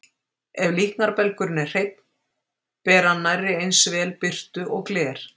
Ef líknarbelgurinn er hreinn, ber hann nærri eins vel birtu og gler.